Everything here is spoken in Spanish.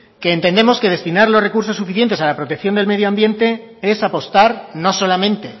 que entendemos que destinar los recursos suficientes a la protección del medio ambiente es apostar no solamente